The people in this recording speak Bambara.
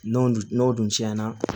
N'o dun n'o dun tiɲɛna